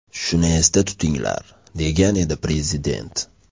Shuni esda tutinglar”, degan edi prezident.